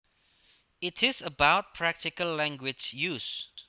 It is about practical language use